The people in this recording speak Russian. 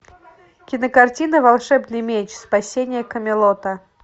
кинокартина волшебный меч спасение камелота